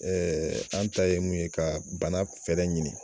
an ta ye mun ye ka bana fɛɛrɛ ɲini.